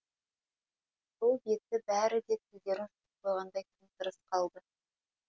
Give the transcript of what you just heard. сол беті бәрі де тілдерін жұтып қойғандай тым тырыс қалды